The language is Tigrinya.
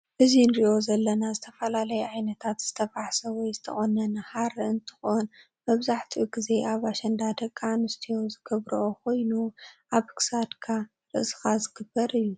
እዚ ንሪኦ ዘለና ዝተፈላለዩ ዓይነታት ዝተፋሕስ ወይ ዝተቆነነ ሃረ እንትኮን መብዛሕቲኡ ግዜ አብ አሽንዳ ደቂ አንስትዮ ዝግበሮኦ ኮይኑ አብ ክሳድካ ፣ርእስካ ዝግበር አዩ ።